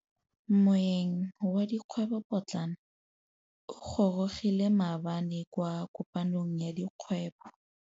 Moêng wa dikgwêbô pôtlana o gorogile maabane kwa kopanong ya dikgwêbô.